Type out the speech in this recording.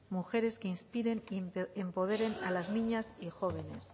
mujeres que inspiren y empoderen a las niñas y jóvenes